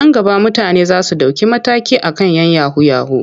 Nan gaba mutane za su ɗauki mataki a kan 'yan yahu-yahu.